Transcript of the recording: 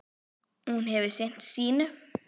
Hún hefur sinnt sínu.